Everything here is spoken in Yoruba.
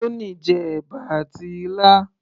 Tony jẹ ẹ̀bà àti ilá